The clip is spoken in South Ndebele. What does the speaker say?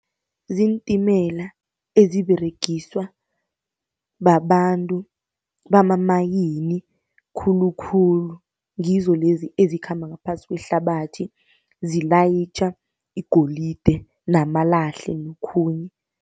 Ziintimela eziberegiswa babantu bamamayini khulukhulu, ngizo lezi ezikhamba ngaphasi kwehlabathi, zilayitjha igolide namalahle nokhunye.